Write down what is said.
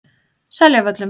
Seljavöllum